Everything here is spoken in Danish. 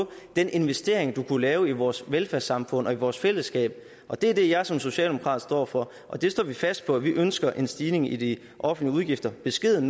den investering man kunne lave i vores velfærdssamfund og i vores fællesskab og det er det jeg som socialdemokrat står for og det står vi fast på vi ønsker en stigning i de offentlige udgifter en beskeden